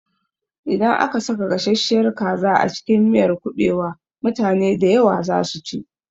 Idan aka saka gasasshiyar kaza a cikin miyar kuɓewa, mutane dayawa za su ci